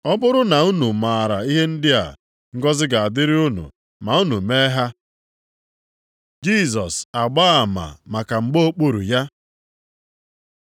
Ọ bụrụ na unu a mara ihe ndị a, ngọzị ga-adịrị unu ma unu mee ha. Jisọs agbaa ama maka mgba okpuru ya